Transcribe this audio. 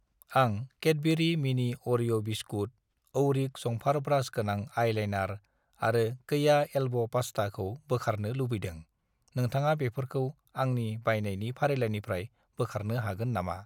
आं Cadbury mini Oreo biscuit , औरिक जंफार ब्रास गोनां आइलाइनार आरो कैया एल्ब' पास्ता खौ बोखारनो लुबैदों, नोंथाङा बेफोरखौ आंनि बायनायनि फारिलाइनिफ्राय बोखारनो हागोन नामा?